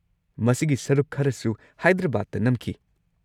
ꯃꯁꯤꯒꯤ ꯁꯔꯨꯛ ꯈꯔꯁꯨ ꯍꯥꯏꯗ꯭ꯔꯕꯥꯗꯇ ꯅꯝꯈꯤ꯫